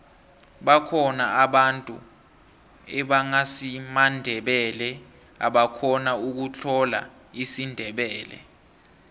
bakhona abantu ebangasimandebele ebakhona ukutlola isindebele